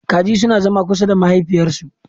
Kaji suna zama kusa da mahaifiyarsu.